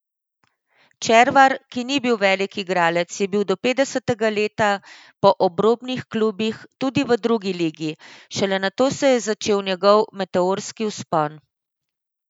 Červar, ki ni bil velik igralec, je bil do petdesetega leta po obrobnih klubih, tudi v drugi ligi, šele nato se je začel njegov meteorski vzpon.